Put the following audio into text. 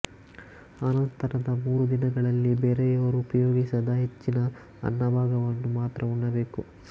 ಅನಂತರದ ಮೂರು ದಿನಗಳಲ್ಲಿ ಬೇರೆಯವರು ಉಪಯೋಗಿಸದ ಹೆಚ್ಚಿನ ಅನ್ನಭಾಗವನ್ನು ಮಾತ್ರ ಉಣ್ಣಬೇಕು